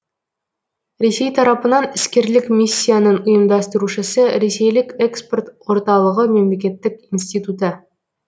ресей тарапынан іскерлік миссияның ұйымдастырушысы ресейлік экспорт орталығы мемлекеттік институты